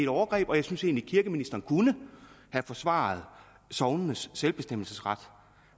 overgreb og jeg synes egentlig at kirkeministeren kunne have forsvaret sognenes selvbestemmelsesret